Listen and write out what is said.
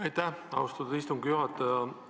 Aitäh, austatud istungi juhataja!